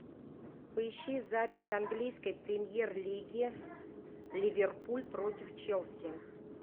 поищи запись английской премьер лиги ливерпуль против челси